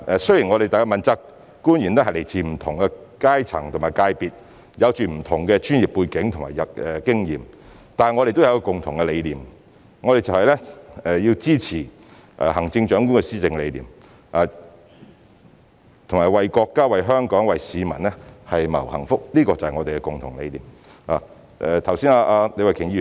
雖然問責官員來自不同階層和界別，有着不同的專業背景及經驗，但大家都有共同理念，就是要支持行政長官的施政理念，以及為國家、為香港、為市民謀幸福，這就是我們的共同理念。